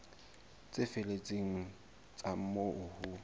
tse felletseng tsa moo ho